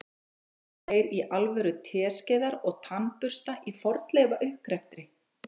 Nota þeir í alvöru teskeiðar og tannbursta í fornleifauppgreftri?